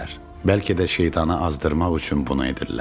Bəlkə də şeytanı azdırmaq üçün bunu edirlər.